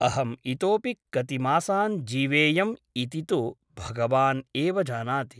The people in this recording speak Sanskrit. अहम् इतोऽपि कति मासान् जीवेयम् इति तु भगवान् एव जानाति ।